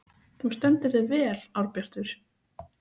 Þú stendur þig vel, Árbjartur!